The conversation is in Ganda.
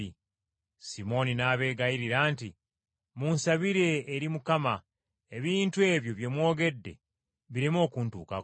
Simooni n’abeegayirira nti, “Munsabire eri Mukama ebintu ebyo bye mwogedde bireme okuntuukako.”